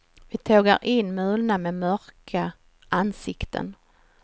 Vi tågar in mulna med mörka ansikten.